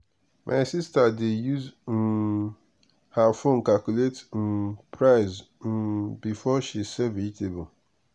my sister dey use um her phone calculate um price um before she sell vegetable.